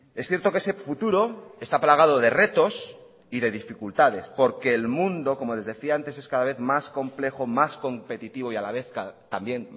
es cierto que ese futuro está plagado de retos y de dificultades porque el mundo como les decía antes es cada vez más complejo más competitivo y a la vez también